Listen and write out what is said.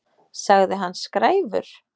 Sagði hann skræfur?